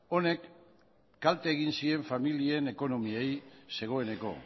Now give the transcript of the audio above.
honek kalte egin zien familien ekonomiei zegoeneko